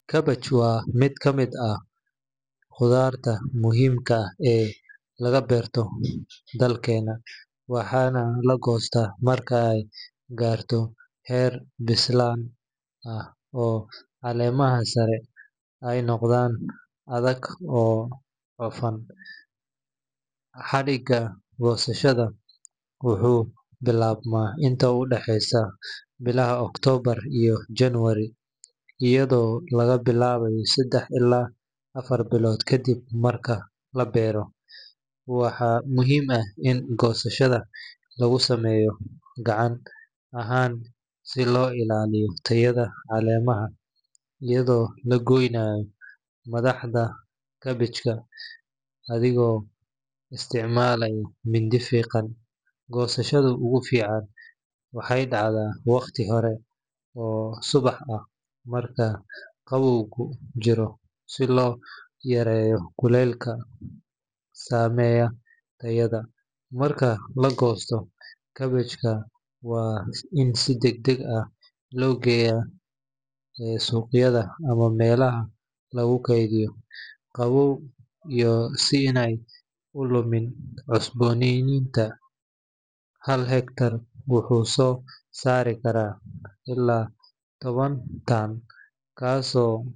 Cabbage waa mid ka mid ah khudaarta muhiimka ah ee laga beerto dalkeenna, waxaana la goostaa marka ay gaarto heer bislayn ah oo caleemaha sare ay noqdaan adag oo cufan. Xilliga goosashada wuxuu bilaabmaa inta u dhexeysa bilaha October iyo January, iyadoo laga bilaabayo saddex ilaa afar bilood kadib marka la beero. Waxaa muhiim ah in goosashada lagu sameeyo gacan ahaan si loo ilaaliyo tayada caleemaha, iyadoo la goynayo madaxda kaabijka adigoo isticmaalaya mindi fiiqan. Goosashada ugu fiican waxay dhacdaa waqti hore oo subax ah marka qabowgu jiro si loo yareeyo kulaylka saameeya tayada. Marka la goosto, kaabijka waa in deg deg loo geeyaa suuqyada ama meelaha lagu kaydiyo qabow si aanay u lumin cusboonaantooda. Hal hektar wuxuu soo saari karaa ilaa toban tan, taasoo.